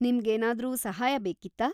ನಿಮ್ಗೇನಾದ್ರೂ ಸಹಾಯ ಬೇಕಿತ್ತಾ?